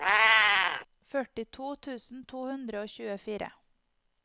førtito tusen to hundre og tjuefire